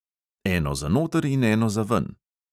Eno za noter in eno za ven.